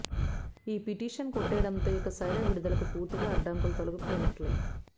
ఈ పిటిషన్ కొట్టేయడంతో ఇక సైరా విడుదలకు పూర్తిగా అడ్డంకులు తొలగిపోయినట్లే